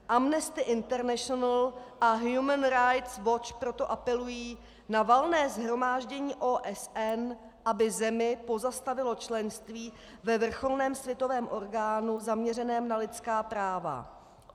Amnesty International a Human Rights watch proto apelují na Valné shromáždění OSN, aby zemi pozastavilo členství ve vrcholném světovém orgánu zaměřeném na lidská práva.